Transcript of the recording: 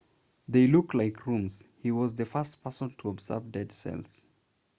they looked like rooms he was the first person to observe dead cells